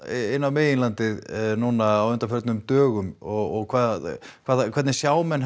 inn á meginlandið nú á undanförnum dögum og hvað hvað eða hvernig sjá menn